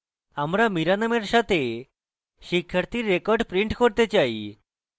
আমরা mira নামের সাথে শিক্ষার্থীর records print করতে say